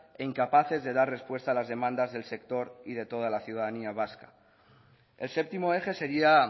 e incapaces de dar respuesta a las demandas del sector y de toda la ciudadanía vasca el séptimo eje sería